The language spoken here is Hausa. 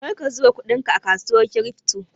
Karka zuba kudinka a kasuwar kirifto!